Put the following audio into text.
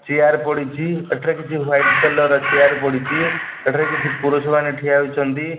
Chair ପଡ଼ିଚି ଏଠାରେ କିଛି ହ୍ୱାଇଟ କଲର ର ଚିଆର ପଡିଚି ଏଠାରେ କିଛି ପୁରୁଷ ମନେ ଠିଆ ହେଇଚନ୍ତି।